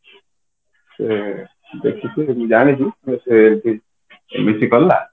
ସେ ଦେଖିକି ଜାଣିଛି MSC କଲା